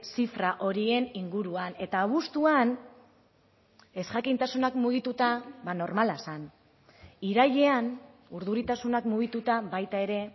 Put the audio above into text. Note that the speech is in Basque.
zifra horien inguruan eta abuztuan ezjakintasunak mugituta normala zen irailean urduritasunak mugituta baita ere